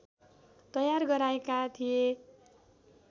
तयार गराएका थिए